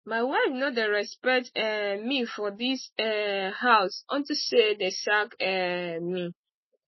my wife no dey respect um me for dis um house unto say dey sack um me